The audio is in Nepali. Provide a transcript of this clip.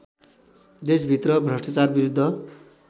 देशभित्र भ्रष्टाचार विरुद्ध